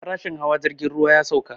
Farashin hawa jirgin ruwa ya sauka